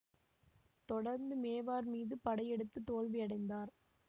தொடர்ந்து மேவார் மீது படையெடுத்து தோல்வியடைந்தார்